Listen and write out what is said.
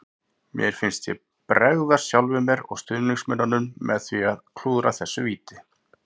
Mér fannst ég bregðast sjálfum mér og stuðningsmönnunum með því að klúðra þessu víti.